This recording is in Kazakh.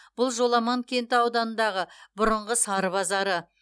бұл жоламан кенті ауданындағы бұрынғы сары базары